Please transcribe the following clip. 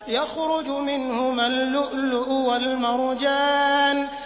يَخْرُجُ مِنْهُمَا اللُّؤْلُؤُ وَالْمَرْجَانُ